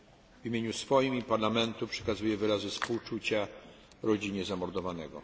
W imieniu swoim i Parlamentu przekazuję wyrazy współczucia rodzinie zamordowanego.